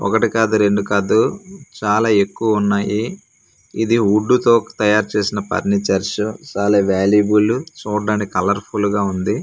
ఒకటి కాదు రెండు కాదు చాలా ఎక్కువ ఉన్నాయి ఇది వుడ్డు తో తయారు చేసిన పర్నిచర్సు సాలా వాల్యూబులు చూడ్డానికి కలర్ ఫుల్ గా ఉంది.